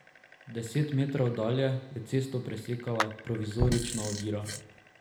Deset metrov dalje je cesto presekala provizorična ovira.